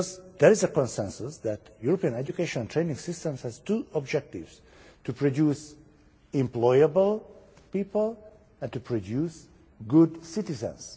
There is a consensus that European education and training systems have two objectives to produce employable people and to produce good citizens.